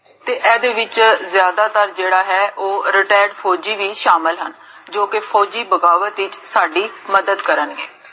ਤੇ ਏਦੇ ਵਿਚ ਜਾਦਾ ਤਰ ਜੇਹੜਾ retired ਫੋਜੀ ਵੀ ਸ਼ਾਮਲ ਹਨ, ਜੋ ਕੀ ਫੋਜੀ, ਬਗਾਵਤ ਵਿਚ ਮਦਦ ਕਰਨਗੇ